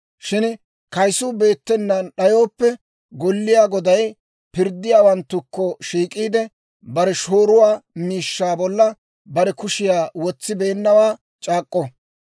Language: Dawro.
Shin kaysuu beettenaan d'ayooppe, golliyaa goday pirddiyaawanttukko shiik'iide bare shooruwaa miishshaa bolla bare kushiyaa wotsibeennawaa c'aak'k'o.